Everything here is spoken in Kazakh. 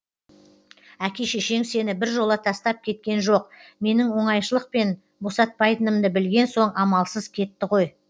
әке шешең сені біржола тастап кеткен жоқ менің оңайшылықпен босатпайтынымды білген соң амалсыз кетті ғой